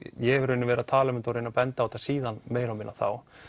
ég hef verið að tala um þetta og reynt að benda á þetta síðan þá